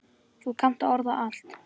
Þú kannt að orða allt.